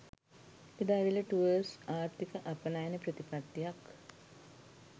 එදා වේල ටුවර්ස් ආර්ථික අපනයන ප්‍රතිපත්තියක්